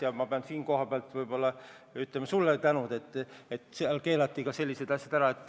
Ja ma pean siinkohal võib-olla ütlema sulle tänu, et keelati ka sellised asjad ära.